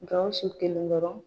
Gawusu kelen dɔrɔn?